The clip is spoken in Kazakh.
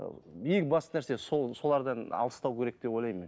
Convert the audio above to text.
ыыы ең басты нәрсе сол солардан алыстау керек деп ойлаймын мен